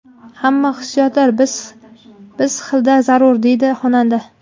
Hamma hissiyotlar biz xilda zarur”, − deydi xonanda.